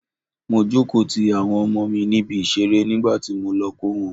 Mo jókòó ti àwọn ọmọ mi níbi ìṣeré nígbàtí mo lọ kó wọn.